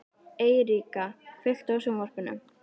Eiríka, kveiktu á sjónvarpinu.